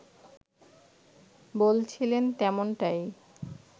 বলছিলেন তেমনটাই